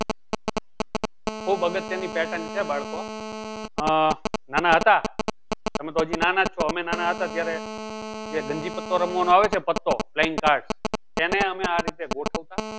ખુબ અગત્ય ની pattern છે બાળકો અમે નાના હતા તમે તો હજી નાના જ છો અમે નાના હતા ત્યારે જે ગંજી પત્તો રમવાનો આવે છે playingcards એને અમે આ રીતે ગોઠવતા